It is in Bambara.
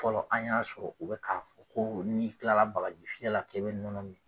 Fɔlɔ an y'a sɔrɔ u bi ka ko n'i kilala bagaji fiyɛ la k' i bɛ nɔnɔ min